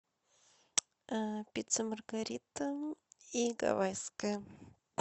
пицца маргарита и гавайская